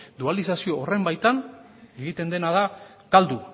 dualizazio horren baitan egiten dena da galdu